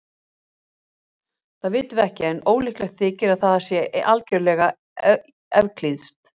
Það vitum við ekki en ólíklegt þykir að það sé algjörlega evklíðskt.